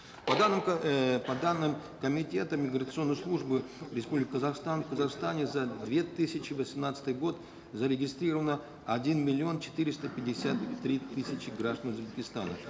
по данным эээ по данным комитета миграционной службы республики казахстан в казахстане за две тысячи восемнадцатый год зарегистрировано один миллион четыреста пятьдесят три тысячи граждан узбекистана